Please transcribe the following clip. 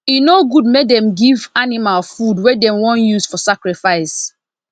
e no good make dem give animal food wey dem wan use for sacrifices